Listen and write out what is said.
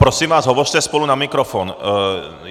Prosím vás, hovořte spolu na mikrofon.